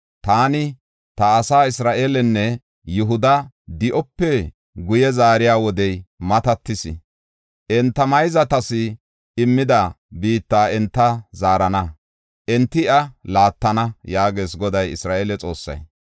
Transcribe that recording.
Taani ta asaa Isra7eelenne Yihuda di7ope guye zaariya wodey matatis. Enta mayzatas immida biitta enta zaarana; enti iya laattana” yaagees Goday Isra7eele Xoossay.